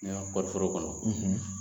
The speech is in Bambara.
kɔɔri foro kɔnɔ